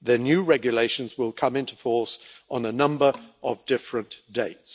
the new regulations will come into force on a number of different dates.